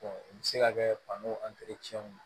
u bɛ se ka kɛ fano ye